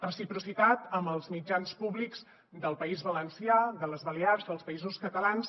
reciprocitat amb els mitjans públics del país valencià de les balears dels països catalans